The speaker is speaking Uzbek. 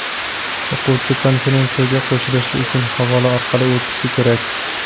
O‘quvchi konferensiyaga qo‘shilishi uchun havola orqali o‘tishi kerak.